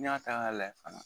Ni ya ta ka layɛ fana